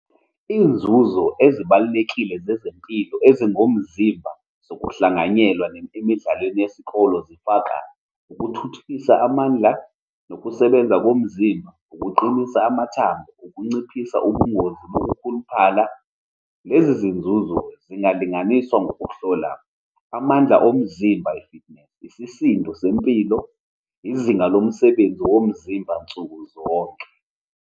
Iy'nzuzo ezibalulekile zezempilo ezingomzimba zokuhlanganyela emidlalweni yesikole zifaka ukuthuthukisa amandla, nokusebenza komzimba, ukuqinisa amathambo, ukunciphisa ubungozi nokukhuluphala. Lezi zinzuzo ziingalinganiswa ngokuhlola amandla omzimba, isisindo sempilo, izinga lomsebenzi womzimba nsukuzonke.